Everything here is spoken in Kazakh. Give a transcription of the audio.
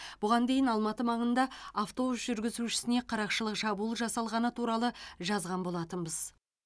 бұған дейіналматы маңында автобус жүргізушісіне қарақшылық шабуыл жасалғаны туралы жазған болатынбыз